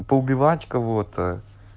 а поубивать кого-то